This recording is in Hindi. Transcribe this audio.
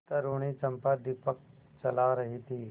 तरूणी चंपा दीपक जला रही थी